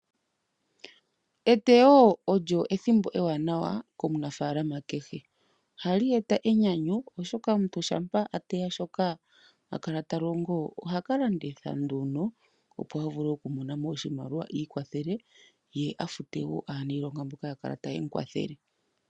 Eteyo olyo ethimbo ewanawa komunaafalama kehe. Ohali eta enyanyu oshoka omuntu shampa a teya shoka a kala ta longo, ohaka landitha nduno opo a vule okumona mo oshimaliwa ikwathele, ye a fute woo aaniilonga mboka ya kala taye mu kwathele.